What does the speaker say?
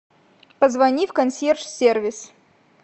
позвони в консьерж сервис